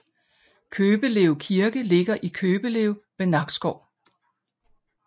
Købelev Kirke ligger i Købelev ved Nakskov